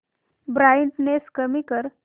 brightness कमी कर